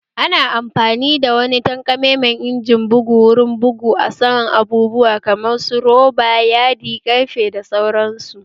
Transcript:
Ana amfani da wani takamammen injimin bugu wurin bugu a saman abubuwa kamar su Roba, Yadi, Ƙarfe da sauran su